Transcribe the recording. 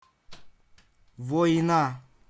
война